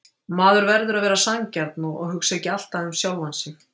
Maður verður að vera sanngjarn og hugsa ekki alltaf um sjálfan sig.